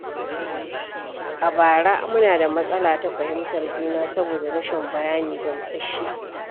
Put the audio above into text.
A bara, muna da matsala ta fahimtar juna saboda rashin bayani gamsasshe